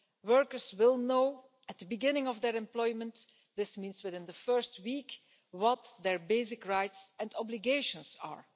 Workers will know at the beginning of their employment this means within the first week what their basic rights and obligations are.